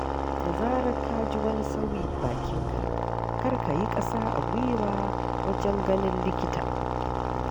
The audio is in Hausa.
Da zarar ka ji wani sauyi bakinka, kar ka yi ƙasa a gwiwa wajen ganin likita.